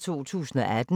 DR P1